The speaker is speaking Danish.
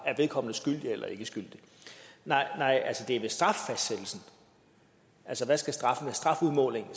vedkommende er skyldig eller ikke skyldig nej det er ved straffastsættelsen ved strafudmålingen